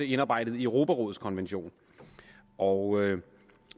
indarbejdet i europarådets konvention og